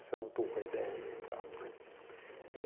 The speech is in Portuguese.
Essa era um pouco a ideia e tal, né.